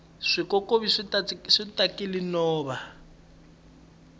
swikokovi swi tatile nhova